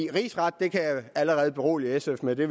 rigsret kan jeg allerede berolige sf med det